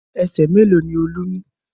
Ẹsẹ̀ mélòó ni Olú ní?